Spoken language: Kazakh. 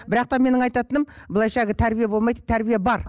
бірақ та менің айтатыным былайша әлгі тәрбие болмайды тәрбие бар